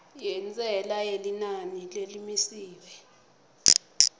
yentsela yelinani lelimisiwe